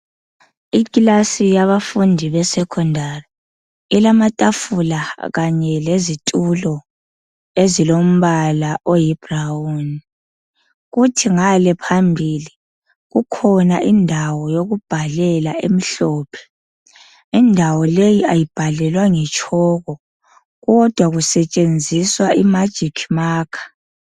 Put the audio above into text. Ikilasi yabafundi besecondary. Ilamatafula kanye lezitulo ezilombala oyibrown. Kuthi ngale phambili kukhona indawo yokubhalela emhlophe. Indawo le kayibhalelwa ngetshoko, kodwa kusetshenziswa imagic marker.